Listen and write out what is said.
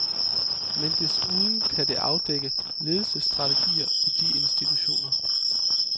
Men desuden kan det afdække ledelsesstrategier i de institutioner.